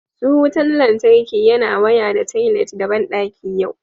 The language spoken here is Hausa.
Su wutan lantarki yana waya da toilet da bandaki yau